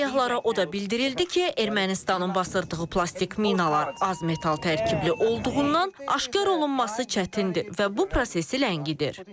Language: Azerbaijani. Səyyahlara o da bildirildi ki, Ermənistanın basdırdığı plastik minalar az metal tərkibli olduğundan aşkar olunması çətindir və bu prosesi ləngidir.